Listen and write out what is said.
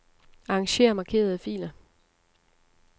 Arranger markerede filer.